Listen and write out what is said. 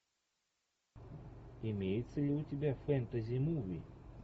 имеется ли у тебя фэнтези муви